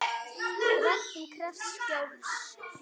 Ræktun krefst skjóls.